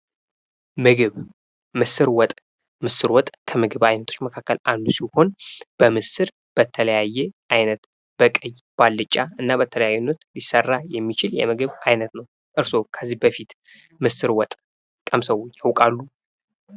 ምግብ ። ምስር ወጥ ፡ ምስር ወጥ ከምግብ አይነቶች መካከል አንዱ ሲሆን በምስር በተለያየ አይነት በቀይ በአልጫ እና በተለያየ አይነት ሊሰራ የሚችል የምግብ አይነት ነው ። እርሶ ከዚህ በፊት ምስር ወጥ ቀምሰው ያውቃሉ?